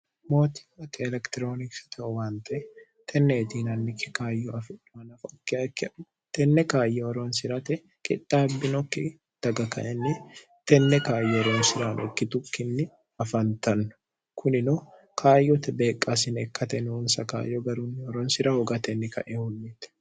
mootilate elektiroonikisitehowante tenneetiinannikke kaayyo afi'nohanafokiikken tenne kaayyoh ronsi'rate qidhaabbinokki daga kainni tenne kaayyo ronsiraanokki tukkinni afantanno kunino kaayyote beeqqaasine kkate nuunsa kaayyo garunniho ronsira hoga tenni kae hunniite